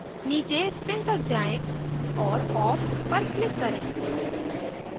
नीचे spin तक जाएँ और off पर click करें